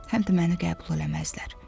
Həm də məni qəbul eləməzlər.